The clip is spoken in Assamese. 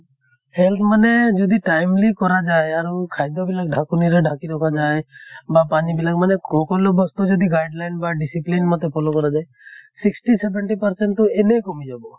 health মানে যদি timely কৰা যায় আৰু খাদ্য় বিলাক ঢাকনিৰে ঢাকি ৰখা যায়, বা পানী বিলাক মানে খকলো বস্তু যদি guideline বা discipline মতে follow কৰা যায়, sixty seventy percent তো এনে কমি যাব।